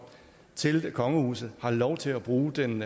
til kongehuset har lov til at bruge den